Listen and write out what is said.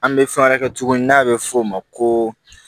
An bɛ fɛn wɛrɛ kɛ tuguni n'a bɛ f'o ma ko